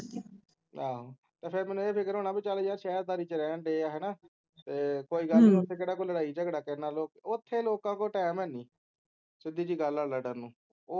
ਆਹੋ ਤੇ ਫੇਰ ਮੈਨੂੰ ਏ ਫਿਕਰ ਹੋਣਾ ਕੇ ਚਲ ਯਾਰ ਸ਼ੇਹਰਦਾਰੀ ਚ ਰਹਿ ਰਹੇ ਹੈਂ ਹੈਨਾ ਕੋਈ ਗੱਲ ਨੀ ਓਥੇ ਕਿਹੜਾ ਕੋਈ ਲੜਾਈ ਝਗੜਾ ਕਰਨਾ ਓਥੇ ਲੋਕਾਂ ਕੋਲ time ਹੈਨੀ ਸਿਧਿ ਜਿਹੀ ਗੱਲ ਹੈ ਲੜ੍ਹਨ ਨੂੰ